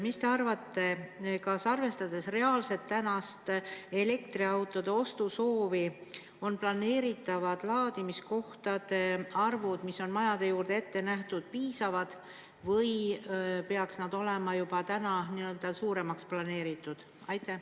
Mis te arvate, kas arvestades tänast reaalset elektriautode ostu soovi, on planeeritavad laadimiskohtade arvud, mis on majade juurde ette nähtud, piisavad või peaks nad olema juba täna suuremaks planeeritud?